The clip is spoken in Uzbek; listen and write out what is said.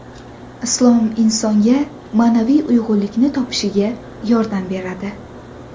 Islom insonga ma’naviy uyg‘unlikni topishiga yordam beradi.